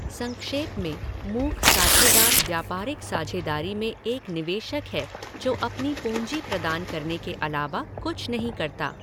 संक्षेप में, मूक साझेदार व्यापारिक साझेदारी में एक निवेशक है जो अपनी पूँजी प्रदान करने के अलावा कुछ नहीं करता।